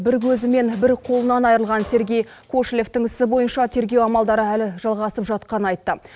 бір көзі мен бір қолынан айырылған сергей кошелевтің ісі бойынша тергеу амалдары әлі жалғасып жатқанын айтты